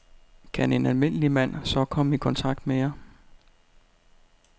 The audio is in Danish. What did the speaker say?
Kan en almindelig mand så komme i kontakt med jer?